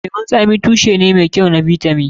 Lemun zaƙi tushe ne mai kyau na bitamin.